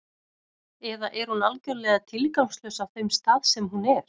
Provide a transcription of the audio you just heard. Eða er hún algjörlega tilgangslaus á þeim stað sem hún er?